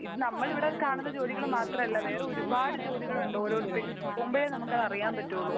ഇത് നമ്മൾ ഇവിടെ കാണുന്ന ജോലികൾ മാത്രമല്ല. വേറെ ഒരുപാട് ജോലികളുണ്ട്. ഓരോരുത്തർ എടുക്കുമോഴേ നമുക്ക് അത് അറിയാൻ പറ്റുകയുള്ളു.